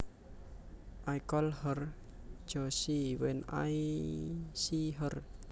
I call her Josie when I see her